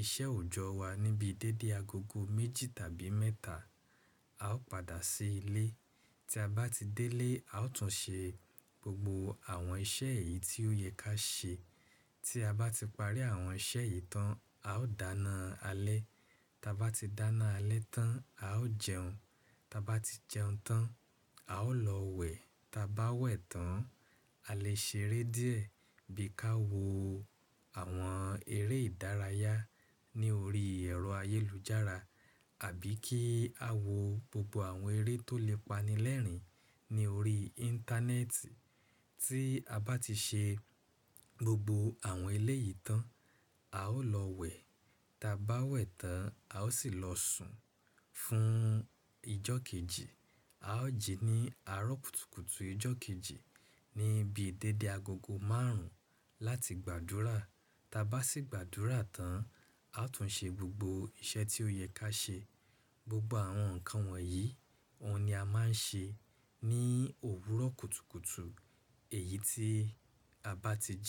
iṣẹ́ òòjọ́ wa níbi dédé agogo méjì tàbí mẹ́ta, a ó padà sí ilé. Tí a bá ti dé ilé, a ó tún ṣe gbogbo àwọn iṣẹ́ èyí tí ó yẹ ká ṣe. Tí a bá ti parí àwọn iṣẹ́ yìí tán, a ó dáná alẹ́. Tí a bá ti dáná alẹ́ tán, a ó jẹun. Tí a bá ti jẹun tán, a ó lọ wẹ̀. Tí a bá wẹ̀ tán, a lè ṣeré díẹ̀ bí i ká wo àwọn eré ìdárayá ní orí ẹ̀rọ ayélujára àbí kí a wo gbogbo àwọn eré tó lè pani lẹ́rìn-ín ní orí Íńtánẹ́ẹ̀tì. Tí a bá ti ṣe gbogbo àwọn ẹlẹ́ yìí tán, a ó lọ wẹ̀. Tí a bá wẹ̀ tán, a ó sì lọ sùn fún ijó kejì. A ó jí ní àárọ̀ kùtùkùtù ijó kejì níbi dédé agogo márùn-ún láti gbàdúrà. Tí a bá sì gbàdúrà tán, a ó tún ṣe gbogbo iṣẹ́ tí ó yẹ ká ṣe. Gbogbo àwọn nǹkan wọ̀nyí, ọ̀ún ni a máa ń ṣe ní òwúrọ̀ kùtùkùtù èyí tí a bá ti jí.